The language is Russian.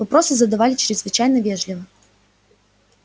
вопросы задавали чрезвычайно вежливо